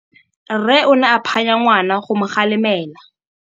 Rre o ne a phanya ngwana go mo galemela.